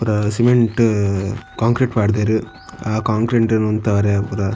ಪೂರ cement concrete ಪಾಡ್ದೆರ್ ಆ ಕೋಂಕ್ರೆಂಟ್ ನು ಉಂತವೆರೆ ಪುರ.